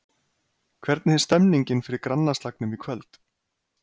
Hvernig er stemningin fyrir grannaslagnum í kvöld?